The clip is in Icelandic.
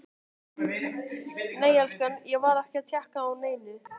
Nei elskan, ég var ekki að tékka á neinu.